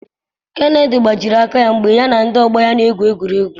Kennedy gbajiri aka ya mgbe ya na ndị ọgbọ ya na-egwu egwu.